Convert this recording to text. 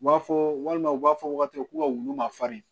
U b'a fɔ walima u b'a fɔ wagatiw ka wulu ma farin